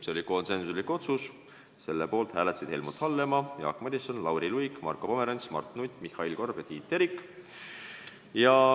See oli konsensuslik otsus, selle poolt hääletasid Helmut Hallemaa, Jaak Madison, Lauri Luik, Marko Pomerants, Mart Nutt, Mihhail Korb ja Tiit Terik.